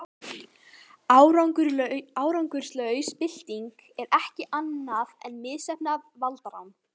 árangurslaus bylting er ekkert annað en misheppnað valdarán